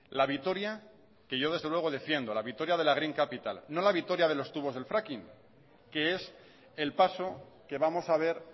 la vitoria que yo desde luego defiendo la vitoria de la green capital no la vitoria de los tubos del fracking que es el paso que vamos a ver